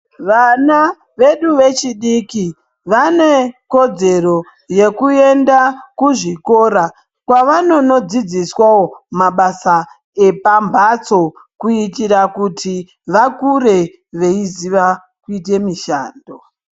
Vana vedu vechidiki vane kodzero yekuenda kuzvikora kwavanonodzidziswawo mabasa emanbatso kuitira kuti vakure veiziya kuita mushando.